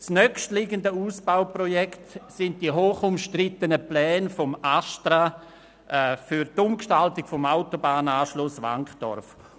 Das nächstanstehende Ausbauprojekt betrifft die hochumstrittenen Pläne des ASTRA für die Umgestaltung des Autobahnanschlusses Wankdorf.